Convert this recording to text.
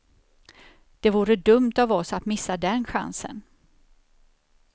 Det vore dumt av oss att missa den chansen.